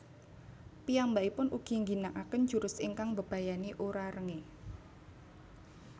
Piyambakipun ugi ngginakaken jurus ingkang mbebayani Urarenge